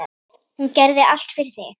Hún gerði allt fyrir þig.